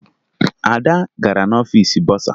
Ada gara n'ọfiisi bọsa